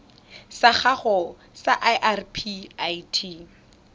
sa gago sa irp it